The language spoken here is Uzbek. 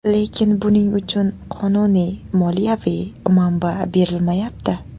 Lekin buning uchun qonuniy moliyaviy manba berilmayapti.